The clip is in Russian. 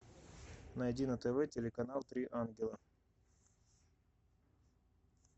найди на тв телеканал три ангела